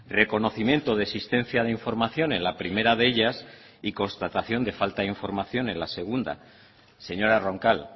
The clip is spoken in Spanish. reconocimiento de existencia de información en la primera de ellas y constatación de falta de información en la segunda señora roncal